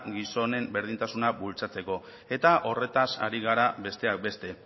gizonen berdintasuna bultzatzeko eta horretaz ari gara besteak beste